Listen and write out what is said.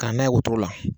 Ka n'a ye wotoro la